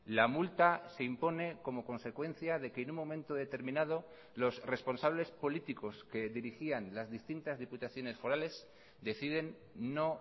la multa se impone como consecuencia de que en un momento determinado los responsables políticos que dirigían las distintas diputaciones forales deciden no